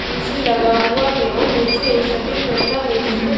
AC लगा हुआ है और नीचे एक सफेद गमला है जिसमें--